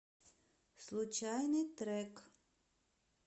случайный трек